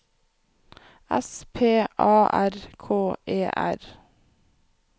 S P A R K E R